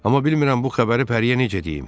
Amma bilmirəm bu xəbəri Pəriyə necə deyim.